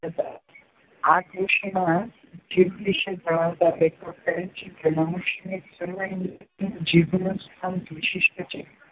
હતા. આ કૃતિમાં જીભ વિશે જણાવતાં લેખક કહે છે કે મનુષ્યની સર્વ ઇન્દ્રિયોમાં જીભનું સ્થાન વિશિષ્ટ છે.